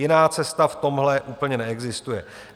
Jiná cesta v tomhle úplně neexistuje.